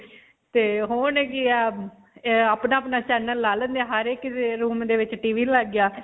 ਆਪਣਾ-ਆਪਣਾ channel ਲਾ ਲੈਂਦੇ ਹੈ. ਹਰੇਕ ਦੇ room ਦੇ ਵਿੱਚ TV ਲੱਗ ਗਿਆ.